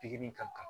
Pikiri in ka kan